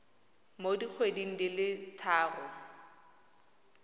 mo dikgweding di le tharo